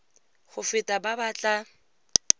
go feta ba ba tla